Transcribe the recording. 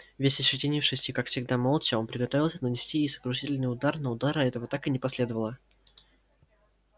весь ощетинившись и как всегда молча он приготовился нанести ей сокрушительный удар но удара этого так и не последовало